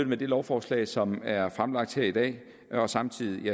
med det lovforslag som er fremlagt her i dag og samtidig